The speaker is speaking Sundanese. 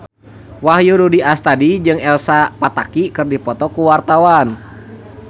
Wahyu Rudi Astadi jeung Elsa Pataky keur dipoto ku wartawan